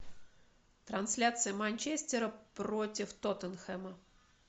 трансляция манчестера против тоттенхэма